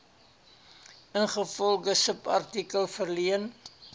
ingevolge subartikel verleen